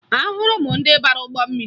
Ahụrụ m ndị bara ụgbọ mmiri